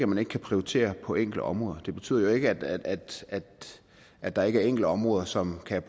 man ikke kan prioritere på enkelte områder det betyder jo ikke at at der ikke er enkelte områder som kan